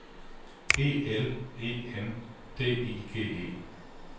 E L E N D I G E